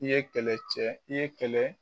I ye kɛlɛcɛ i ye kɛlɛ